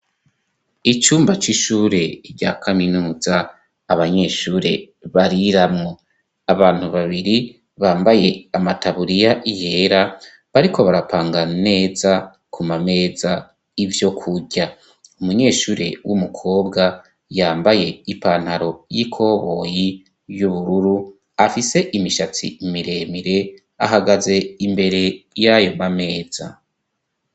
Icumba c'ishure rya kaminuza abanyeshure bariramwo. Abantu babiri bambaye amataburiya yera, bariko barapanga neza ku mameza ivyokurya. Umunyeshure w'umukobwa yambaye ipantaro y'ikoboyi y'ubururu, afise imishatsi miremire ahagaze imbere y'ayo mameza.